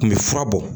Kun bɛ fura bɔ